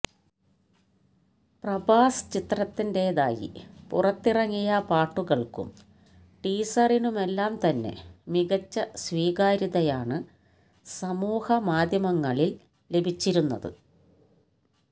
പ്രഭാസ് ചിത്രത്തിന്റെതായി പുറത്തിറങ്ങിയ പാട്ടുകള്ക്കും ടീസറിനുമെല്ലാം തന്നെ മികച്ച സ്വീകാര്യതയാണ് സമൂഹമാധ്യമങ്ങളില് ലഭിച്ചിരുന്നത്